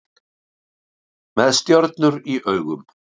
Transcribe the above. Með stjörnur í augum